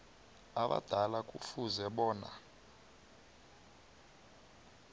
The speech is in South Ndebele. abadala kufuze bona